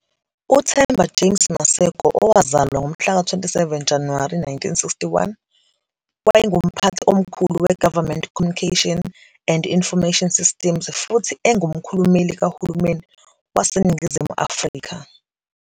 UThemba James Maseko, owazalwa ngomhlaka 27 Januwari 1961, wayenguMphathi Omkhulu we- Government Communication and Information Systems futhi engumkhulumeli kahulumeni waseNingizimu Afrika.